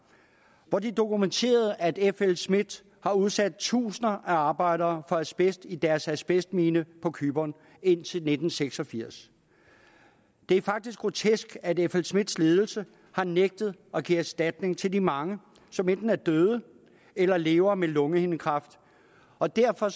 hvor de dokumenterede at flsmidth har udsat tusinder af arbejdere for asbest i deres asbestmine på cypern indtil nitten seks og firs det er faktisk grotesk at flsmidths ledelse har nægtet at give erstatning til de mange som enten er døde eller lever med lungehindekræft og derfor